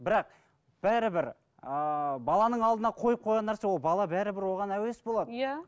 бірақ бәрібір ыыы баланың алдына қойып қойған нәрсе ол бала бәрібір оған әуес болады иә